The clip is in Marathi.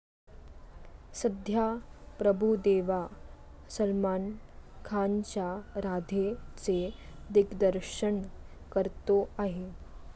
सध्या प्रभुदेवा सलमान खानच्या राधेचे दिग्दर्शन करतो आहे.